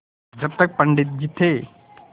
जब तक पंडित जी थे